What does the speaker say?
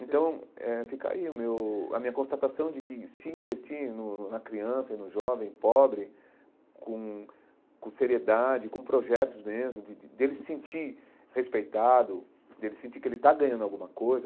Então eh fica aí o meu a minha constatação de que se investir no na criança e no jovem, pobre, com com seriedade, com projetos mesmo, de de dele sentir respeitado, dele sentir que ele está ganhando alguma coisa,